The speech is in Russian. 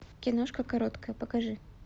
киношка короткая покажи